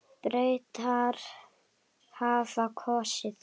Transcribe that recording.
Bretar hafa kosið.